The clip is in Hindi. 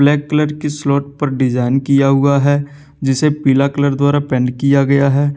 ब्लैक कलर की स्लोब पर डिजाइन किया हुआ है जिसे पीला कलर द्वारा पेंट किया गया है।